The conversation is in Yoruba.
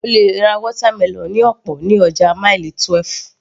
O lè ra watermelon ní ọ̀pọ̀ ní ọjà Mile 12